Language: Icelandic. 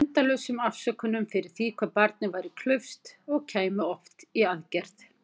Endalausum afsökunum fyrir því hvað barnið væri klaufskt- og kæmi oft í aðgerð.